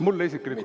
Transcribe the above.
Mulle isiklikult?